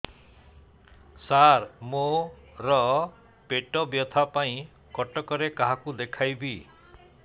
ସାର ମୋ ର ପେଟ ବ୍ୟଥା ପାଇଁ କଟକରେ କାହାକୁ ଦେଖେଇବି